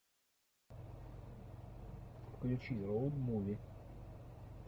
включи роуд муви